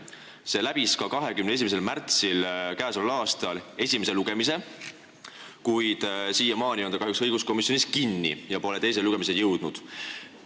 See eelnõu läbis k.a 21. märtsil ka esimese lugemise, kuid on kahjuks siiamaani õiguskomisjonis kinni ja pole teisele lugemisele jõudnud.